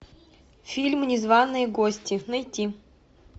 фильм незваные гости найти